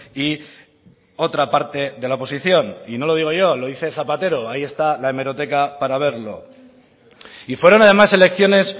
y otra parte de la oposición y no lo digo yo lo dice zapatero ahí está la hemeroteca para verlo y fueron además elecciones